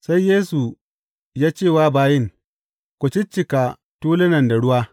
Sai Yesu ya ce wa bayin, Ku ciccika tulunan da ruwa.